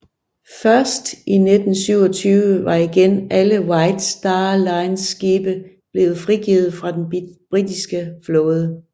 Først i 1927 var igen alle White Star Lines skibe blevet frigivet fra den britiske flåde